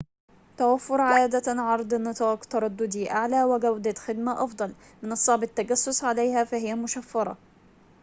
توفر عادة عرض نطاق ترددي أعلى وجودة خدمة أفضل من الصعب التجسس عليها فهي مشفرة